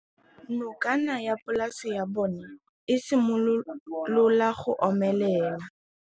Nokana ya polase ya bona, e simolola go omelela.